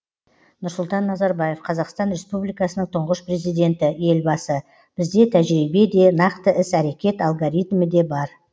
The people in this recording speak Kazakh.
нұрсұлтан назарбаев қазақстан республикасының тұңғыш президенті елбасы бізде тәжірибе де нақты іс әрекет алгоритмі де бар